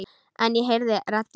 En ég heyri raddir.